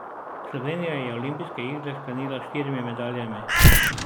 Slovenija je olimpijske igre sklenila s štirimi medaljami.